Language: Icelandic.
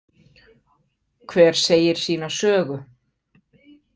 Hver segir sína sögu.